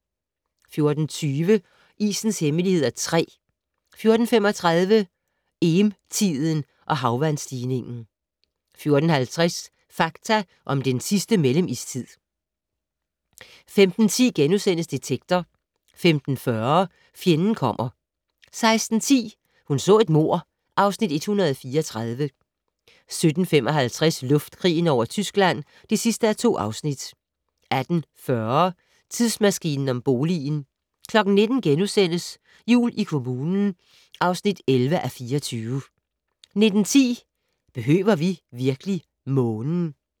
14:20: Isens hemmeligheder (3) 14:35: Eem-tiden og havvandsstigning 14:50: Fakta om den sidste mellemistid 15:10: Detektor * 15:40: Fjenden kommer 16:10: Hun så et mord (Afs. 134) 17:55: Luftkrigen over Tyskland (2:2) 18:40: Tidsmaskinen om boligen 19:00: Jul i kommunen (11:24)* 19:10: Behøver vi virkelig Månen?